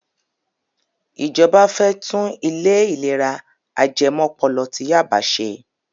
Ìjọba fẹ́ tún ilé ìlera ajẹmọ́pọlọ ti Yaba ṣe.